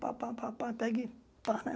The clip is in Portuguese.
Pá, pá, pá, pá, pega e pá, né?